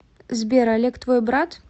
сбер олег твой брат